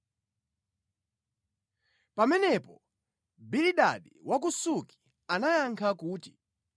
Pamenepo Bilidadi wa ku Suki anayankha kuti,